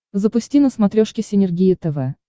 запусти на смотрешке синергия тв